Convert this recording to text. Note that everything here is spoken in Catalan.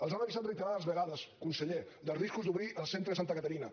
els han avisat reiterades vegades conseller dels riscos d’obrir el centre de santa caterina